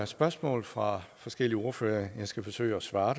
spørgsmål fra forskellige ordførere jeg skal forsøge at svare